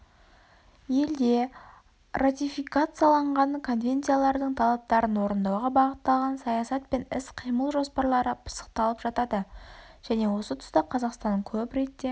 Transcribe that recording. елде ратификацияланған конвенциялардың талаптарын орындауға бағытталған саясат пен іс қимыл жоспарлары пысықталып жатады және осы тұста қазақстан көп ретте